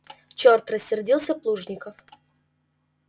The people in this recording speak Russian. чёрт рассердился плужников